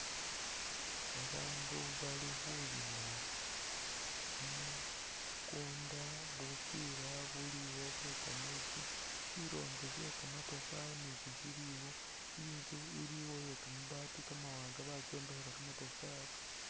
Babaandu bali khulima kumukunda bupila buliwo bwe kameetsi shirombe she kamatafari nasho shiliwo itsu iliwo iye kamaabati kamawanga bakyombekhela kamatafari .